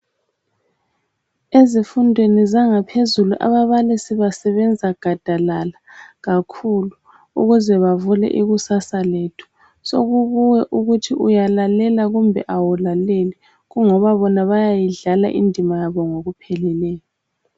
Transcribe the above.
Ezifundweni zangaphezulu ababalisi basebenza gadalala kakhulu ukuze bavule ikusasa lethu. Sokukuwe ukuthi uyalalela kumbe awulaleli, kungoba bona bayayidlala indima yabo ngokupheleleyo.